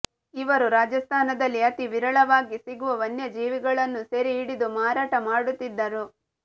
ಇವರು ರಾಜಸ್ಥಾನದಲ್ಲಿ ಅತಿ ವಿರಳವಾಗಿ ಸಿಗುವ ವನ್ಯಜೀವಿಗಳನ್ನು ಸೆರೆ ಹಿಡಿದು ಮಾರಾಟ ಮಾಡುತ್ತಿದ್ದರು